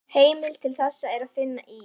Heimild til þessa er að finna í